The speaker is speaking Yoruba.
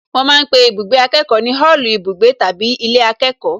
Wọ́n ma ń pe ibùgbé akẹ́kọ̀ọ́ ní òòlù ibùgbé tàbí ilé akẹ́kọ̀ọ́